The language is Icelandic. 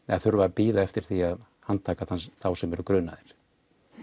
þurfa að bíða eftir því að handtaka þá sem eru grunaðir